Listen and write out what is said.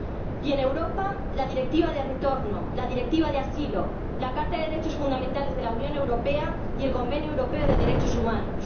Y en Europa, la Directiva de retorno, la Directiva de asilo, la Carta de los Derechos Fundamentales de la Unión Europea y el Convenio Europeo de Derechos Humanos.